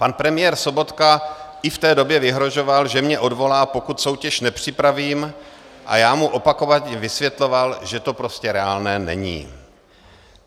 Pan premiér Sobotka i v té době vyhrožoval, že mě odvolá, pokud soutěž nepřipravím, a já mu opakovaně vysvětloval, že to prostě reálné není.